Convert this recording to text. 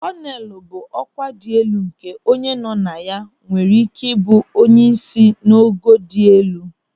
Kọnelu bụ ọkwa dị elu nke onye nọ na ya nwere ị́ké ịbụ onyeisi n'ogo dị elu.